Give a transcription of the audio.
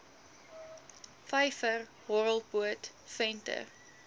vyver horrelpoot venter